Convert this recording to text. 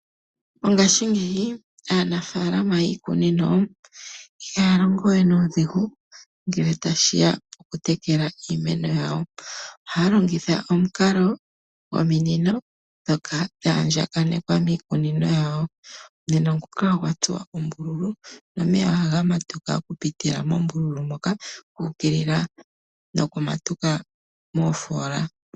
Mongaashingeyi aanafaalama yiikunino ihaya longo we nuudhigu ngele tashiya po kutekela iimeno yawo. Ohaya longitha omikalo dhominino ndhoka dha andjakanekwa miikunino yawo. Omunino nguka ogwa tsuwa oombululu nomeya ohaga matuka oku pitila mombululu moka ga ukilila noku matuka moofola.